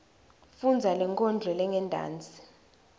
fundza lenkondlo lengentasi